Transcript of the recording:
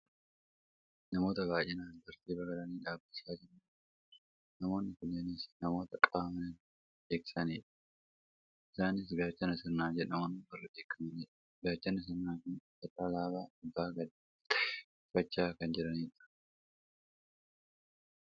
namoota baayyinaan tartiiba galanii dhaabbachaa jiran argaa jirra, namoonni kunneenis namoota qaama nageenya eegsisanidha, isaanis gaachana sirnaa jedhamuun warra beekkamanidha. gaachanni sirnaa kun uffata alaabaa abbaa gadaa ta'e uffachaa kan jiranidha.